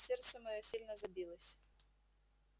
сердце моё сильно забилось